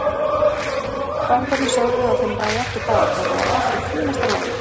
Fangarnir sögðu að þeim lægi ekkert á, þetta væri allt í fínasta lagi.